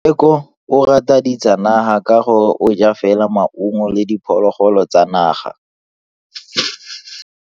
Tsheko o rata ditsanaga ka gore o ja fela maungo le diphologolo tsa naga.